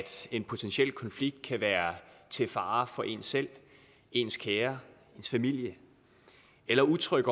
en potentiel konflikt kan være til fare for en selv ens kære ens familie eller utryg